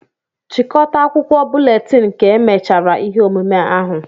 chịkọta akwụkwọ búlétin ka emechara ihe omume ahụ